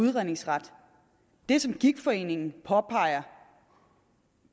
udredningsret det som gigtforeningen påpeger